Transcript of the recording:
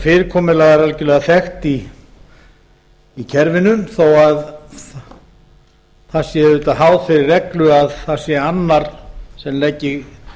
fyrirkomulag er algerlega þekkt í kerfinu þó að það sé auðvitað háð þeirri reglu að það sé annar sem leggi